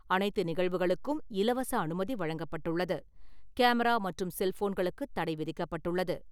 அனைத்து நிகழ்வுகளுக்கும் இலவச அனுமதி வழங்கப்பட்டுள்ளது. கேமரா மற்றும் செல்ஃபோன்களுக்கு தடை விதிக்கப்பட்டுள்ளது.